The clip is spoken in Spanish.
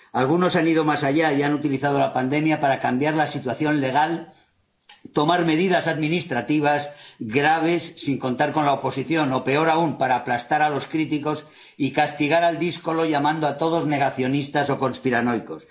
Algunos han ido más allá y han utilizado la pandemia para cambiar la situación legal, tomar medidas administrativas graves, sin contar con la oposición o, peor aún, para aplastar a los críticos y castigar al díscolo, llamando a todos negacionistas o conspiranoicos.